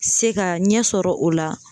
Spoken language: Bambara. Se ka ɲɛ sɔrɔ o la